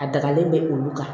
A dagalen bɛ olu kan